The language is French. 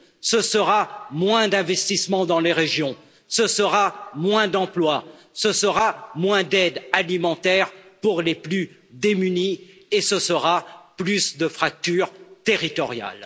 ce sera moins d'investissements dans les régions, ce sera moins d'emplois, ce sera moins d'aide alimentaire pour les plus démunis et ce sera plus de fracture territoriale.